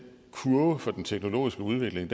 kurve for den teknologiske udvikling